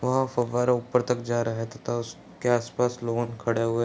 वह फव्वारा ऊपर तक जा रहा है तथा उस के आस-पास लोग खड़े हुए --